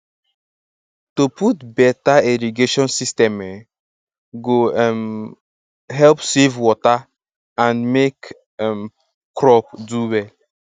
to put beta irrigation system um go um help save water and make um crop do well